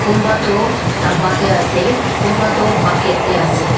konba toh daba dey ase konba toh bucket dey ase.